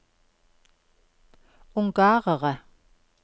ungarere